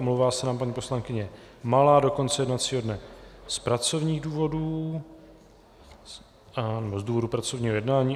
Omlouvá se nám paní poslankyně Malá do konce jednacího dne z pracovních důvodů, z důvodu pracovního jednání.